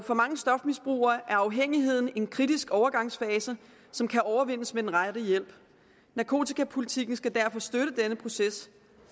for mange stofmisbrugere er afhængigheden en kritisk overgangsfase som kan overvindes med den rette hjælp narkotikapolitikken skal derfor støtte den proces